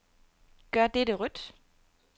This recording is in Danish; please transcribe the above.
Gør dette rødt.